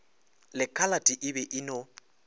lekhalate e be e no